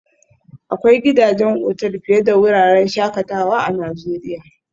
Akwai gidajen otal fiye da wuraren shakatawa a Najeriya